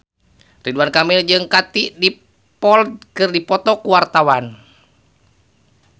Ridwan Kamil jeung Katie Dippold keur dipoto ku wartawan